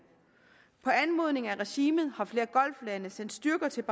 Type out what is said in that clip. på anmodning af regimet har flere golflande sendt styrker til